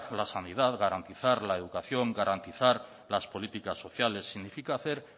la sanidad garantizar la educación garantizar las políticas sociales significa hacer